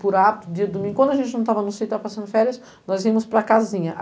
Por hábito, dia de domingo, quando a gente não estava no sítio, estávamos passando férias, nós íamos para a casinha.